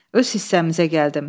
Öz hissəmizə gəldim.